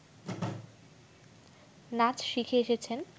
নাচ শিখে এসেছেন